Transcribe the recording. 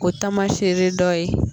O taamaseere dɔ ye